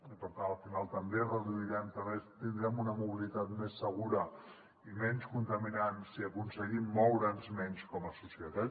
i per tant al final també reduirem també tindrem una mobilitat més segura i menys contaminant si aconseguim moure’ns menys com a societat